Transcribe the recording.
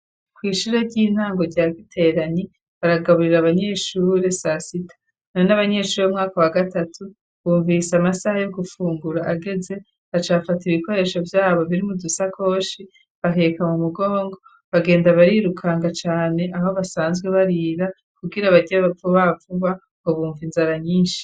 Kwishure ry'intango rya Giteranyi baragaburira abanyeshure sasita. None abanyeshuri rb'umwaka wa gatatu bumvisa amasaha yo gufungura ageze bacafata ibikoresho vyabo birimo dusakoshi baheka mu mugongo bagenda barirukanga cane aho basanzwe barira kubgira abajyabapfu bavu vuba u bumva inzara nyinshi.